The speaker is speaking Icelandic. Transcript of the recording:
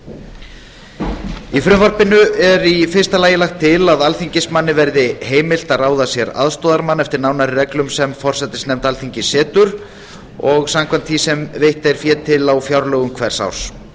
í frumvarpinu er í fyrsta lagi lagt til að alþingismanni verði heimilt að ráða sér aðstoðarmann eftir nánari reglum sem forsætisnefnd alþingis setur og samkvæmt því sem veitt er fé til á fjárlögum hvers árs